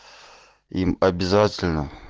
им обязательно